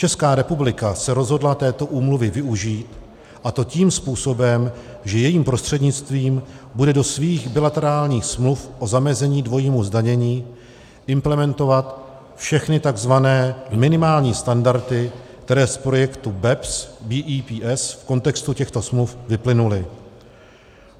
Česká republika se rozhodla této úmluvy využít, a to tím způsobem, že jejím prostřednictvím bude do svých bilaterálních smluv o zamezení dvojímu zdanění implementovat všechny tzv. minimální standardy, které z projektu BEPS v kontextu těchto smluv vyplynuly.